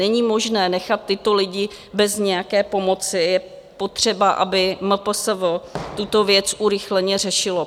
Není možné nechat tyto lidi bez nějaké pomoci, je potřeba, aby MPSV tuto věc urychleně řešilo.